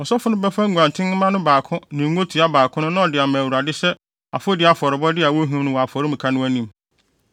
“Ɔsɔfo no bɛfa nguantenmma no baako ne ngotoa baako no na ɔde ama Awurade sɛ afɔdi afɔrebɔ a wohim no wɔ afɔremuka no anim.